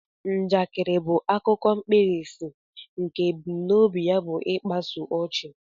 Njakịrị bụ akụkọ mkpirisi nke ebumnobi ya bu ịkpasu ochi